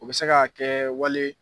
U bɛ se ka kɛ wale ye